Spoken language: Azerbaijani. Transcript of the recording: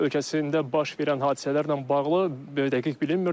Ölkəsində baş verən hadisələrlə bağlı dəqiq bilinmirdi.